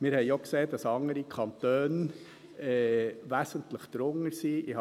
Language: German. Wir haben auch gesehen, dass andere Kantone wesentlich darunter sind.